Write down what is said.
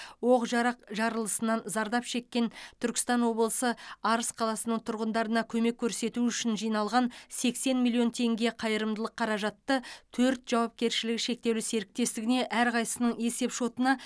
оқ жарақ жарылысынан зардап шеккен түркістан облысы арыс қаласының тұрғындарына көмек көрсету үшін жиналған сексен миллион теңге қайырымдылық қаражатты төрт жауапкершілігі шектеулі серіктестігіне әрқайсының есепшотына